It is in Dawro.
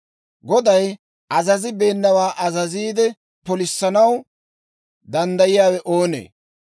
Goday azazibeenawaa azaziide, polissanaw danddayiyaawe oonee?